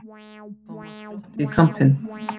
Thomas glotti í kampinn.